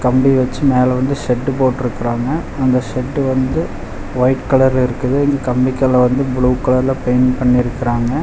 கம்பி வெச்சு மேல வந்து ஷெட்டு போட்ருக்குறாங்க அந்த ஷெட்டு வந்து ஒயிட் கலர்ல இருக்குது இந்த கம்பிக்கெல்லா வந்து ப்ளூ கலர்ல பெயிண்ட் பண்ணிருக்குறாங்க.